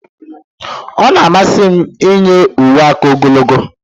Ọ na-amasị m iyi uwe aka ogologo